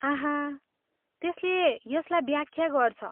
आहा, त्यसले यसलाई व्याख्या गर्छ।